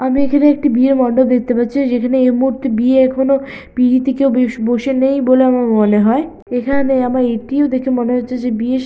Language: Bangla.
আমি এখানে একটি বিয়ের মন্ডপ দেখতে পাচ্ছি যেখানে এই মুহূর্তে বিয়ে এখনো পিঁড়িতে কেউ বে-স বসে নেই বলে আমার মনে হয় এখানে আমার এটিও দেখে মনে হচ্ছে যে বিয়ের স--